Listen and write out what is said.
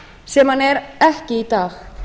sem hann er ekki í dag